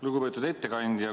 Lugupeetud ettekandja!